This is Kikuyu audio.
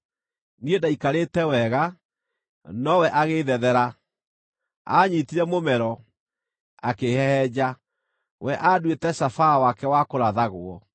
Niĩ ndaikarĩte wega, nowe agĩĩthethera; aanyiitire mũmero, akĩĩhehenja. We anduĩte cabaa wake wa kũrathagwo;